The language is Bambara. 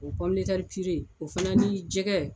O o fana ni jɛgɛ